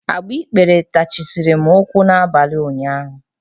Agbikpere tajisiri m ụkwụ n'abalị ụnyaahụ.